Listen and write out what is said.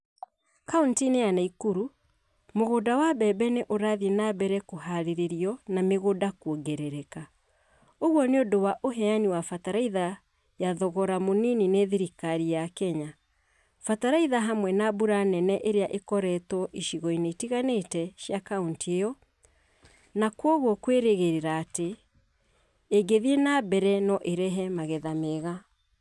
Kauntĩ-inĩ ya Nakuru, mũgũnda wa mbembe nĩ ũrathiĩ na mbere kũharĩrio na mĩgũnda kuongerereka. ũguo nĩ ũndũ wa ũheani wa bataraitha ya thogora munini nĩ thirikari ya Kenya. Bataraitha hamwe na mbura nene ĩrĩa ĩkoretwo icigo-inĩ itiganĩte cia kaunti ĩyo na kwoguo kwĩrĩgĩrĩra atĩ ĩngĩthiĩ na mbere no ĩrehe magetha mega.